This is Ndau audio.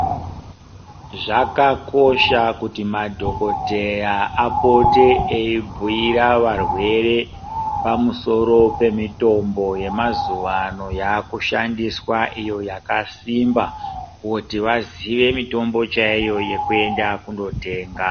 Zvakakosha kuti madhokodheya apote eyibhuyira varwere pamusoro pemitombo yemazuwaano yakushandiswa iyo yakasimba kuti vaziye mitombo chaiyo yekuenda kundotenga.